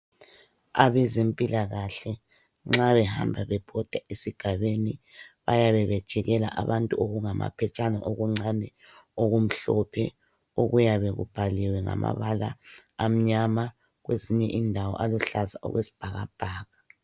Abezempilakahle nxa behamba bebhoda esigabeni bayabe bejikela abantu okungamaphetshana okuncane okumhlophe okuyabe kubhaliwe ngamabala amnyama kwezinye indawo aluhlaza okwesibhakabhaka.